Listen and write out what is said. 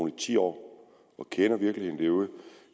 i ti år og kender virkeligheden derude